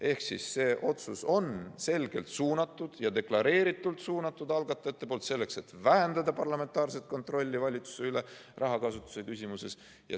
Ehk see otsus on selgelt suunatud ja deklareeritult suunatud, algatajad on selle sinna suunanud, selleks et vähendada parlamentaarset kontrolli valitsuse üle rahakasutuse küsimuses.